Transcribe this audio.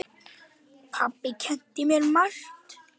Pabbi kenndi mér margt.